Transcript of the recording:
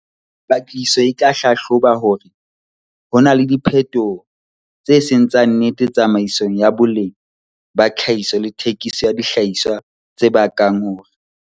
Patlisiso e tla hlahloba hore ho na le diphetoho tse seng tsa nnete tsamaisong ya boleng ba tlhahiso le thekiso ya dihlahiswa tse bakang hore